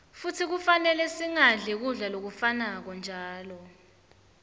futsi kufanele singadli kudla lokufanako njalo